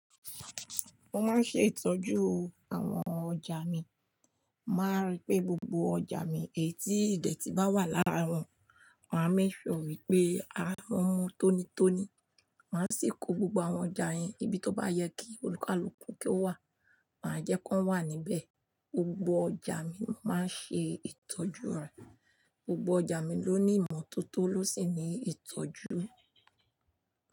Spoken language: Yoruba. Mo máa ń ṣe ìtọ́jú àwọn ọjà mi, màá rí pé gbogbo ọjà mi èyí tí ìdẹ̀tì bá wà lára wọn, màá mééṣuọ̀ wípé à ń tónitóni. Màá sì kó gbogbo àwọn ọjà yẹn ibi tó bá yẹ kí olùkálùkù kí ó wà, màá jẹ́ kó wà níbẹ̀. Gbogbo ọjà mi ni màá nṣe ìtọ́jú rẹ̀, gbogbo ọjà mi ló ní ìmọ́tótó ló sì ní ìtọ́jú.